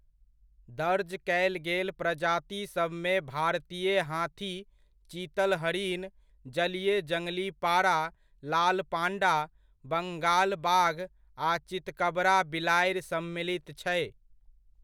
दर्ज कयल गेल प्रजातिसभमे भारतीय हाथी, चीतल हरिन, जलीय जङली पाड़ा, लाल पांडा, बङाल बाघ आ चितकबरा बिलाड़ि सम्मिलित छै।